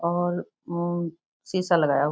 और शीशा लगाया हुआ है ।